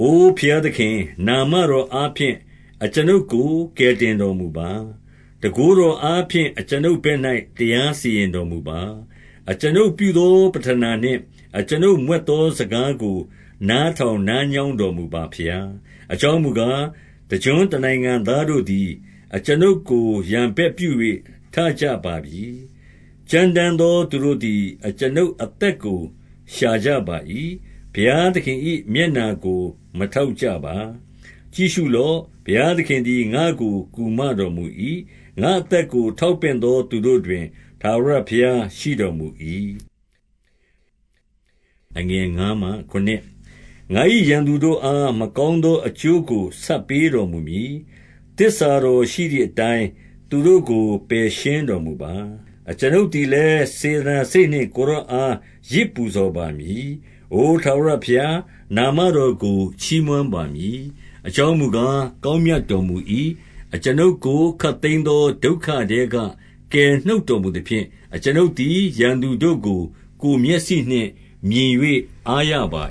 အိုဘုရားသခင်၊ နာမတော်အားဖြင့် အကျွန်ုပ်ကို ကယ်တင်တော်မူပါ။ တန်ခိုးတော်အားဖြင့် အကျွန်ုပ်ဘက် ၌ တရားစီရင်တော်မူပါ။ အကျွန်ုပ်ပြုသော ပဌနာနှင့် အကျွန်ုပ်မြွက် သောစကားကို နားထောင်နားညောင်းတော်မူပါဘုရား။ အကြောင်းမူကား၊ တကျွန်းတနိုင်ငံသားတို့သည် အကျွန်ုပ်ကို ရန်ဘက်ပြု၍ထကြပါပြီ။ ကြမ်းတမ်းသော သူတို့သည် အကျွန်ုပ်အသက်ကို ရှာကြပါ၏။ ဘုရားသခင် ၏ မျက်နှာတော်ကို မထောက်ကြပါ။ ကြည့်ရှုလော့။ ဘုရားသခင်သည် ငါ့ကို ကူမ တော်မူ၏။ ငါ့အသက်ကို ထောက်ပင့်သောသူတို့တွင် ထာဝရဘုရားရှိတော်မူ၏။ ငါ၏ရန်သူတို့အား မကောင်းသောအကျိုးကို ဆပ်ပေးတော်မူမည်။ သစ္စာတော်ရှိသည်အတိုင်း သူတို့ကို ပယ်ရှင်းတော်မူပါ။ အကျွန်ုပ်သည်လည်း၊ စေတနာစိတ်နှင့် ကိုယ်တော်အား ယဇ်ပူဇော်ပါမည်။ အိုထာဝရဘုရား၊ နာမတော်ကို ချီးမွမ်းပါမည်။ အကြောင်းမူကား၊ ကောင်း မြတ်တော်မူ၏။ အကျွန်ုပ်ကို ခပ်သိမ်းသော ဒုက္ခထဲက ကယ် နှုတ်တော်မူသဖြင့်၊ အကျွန်ုပ်သည် ရန်သူတို့ကို ကိုယ် မျက်စိနှင့် မြင်၍အားရပါ